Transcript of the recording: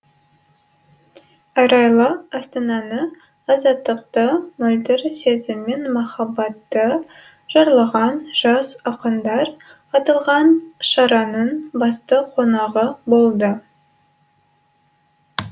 арайлы астананы азаттықты мөлдір сезім мен махаббатты жырлаған жас ақындар аталған шараның басты қонағы болды